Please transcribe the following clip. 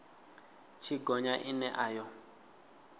tshi gonya ine a yo